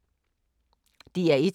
DR1